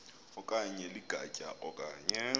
okanye ligatya okanye